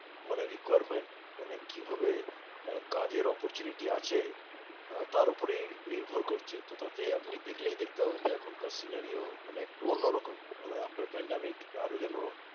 মানে requirement মানে কিভাবে আহ কাজের opportunity আছে আহ তার উপরেই নির্ভর করছে। তো তাতে আপনি দেখলেই দেখতে পাবেন যে এখনকার scenario মানে একটু অন্যরকম। মানে আপনার pandemic আরো যেন